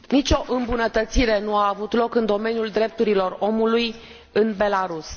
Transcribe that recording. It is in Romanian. Nicio îmbunătățire nu a avut loc în domeniul drepturilor omului în Belarus.